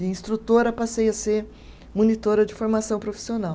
De instrutora passei a ser monitora de formação profissional.